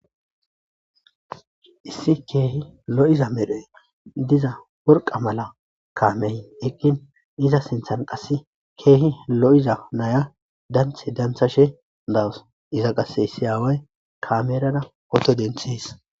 Issi keehi lo'iza medhee diza worqa mala kaamey eqqin iza sinthan qasse keehi lo'iza naya danthe dantha she dawus iza qasse issi aaway kaamerada oto denthis.